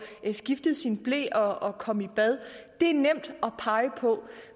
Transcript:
skiftet sin ble og og komme i bad det er nemt at pege på